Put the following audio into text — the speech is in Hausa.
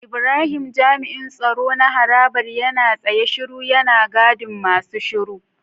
Ibrahim jami'in tsaro na harabar yana tsaye shiru yana gadin masu shiru.